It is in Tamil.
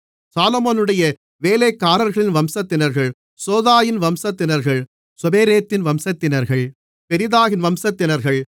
சாலொமோனுடைய வேலைக்காரர்களின் வம்சத்தினர்கள் சோதாயின் வம்சத்தினர்கள் சொபெரேத்தின் வம்சத்தினர்கள் பெரிதாவின் வம்சத்தினர்கள்